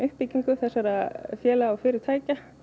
þessara félaga og fyrirtækja